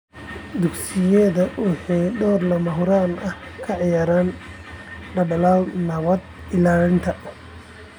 Dugsiyada waxay door lama huraan ah ka ciyaaraan dadaallada nabad ilaalinta.